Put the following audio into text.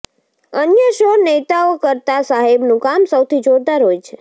અન્ય સૌ નેતાઓ કરતાં સાહેબનું કામ સૌથી જોરદાર હોય છે